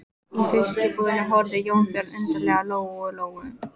Í fiskbúðinni horfði Jónbjörn undarlega á Lóu Lóu.